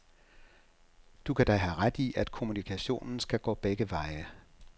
Du kan da have ret i, at kommunikationen skal gå begge veje.